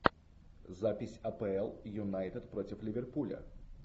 запись апл юнайтед против ливерпуля